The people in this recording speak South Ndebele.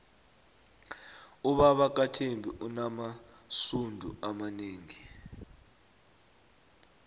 ubaba kathembi unamasudu amanengi